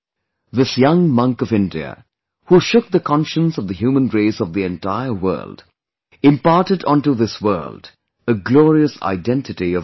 This young monk of India, who shook the conscience of the human race of the entire world, imparted onto this world a glorious identity of India